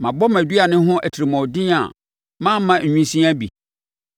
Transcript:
Mabɔ mʼaduane ho atirimuɔden a mamma nwisiaa bi?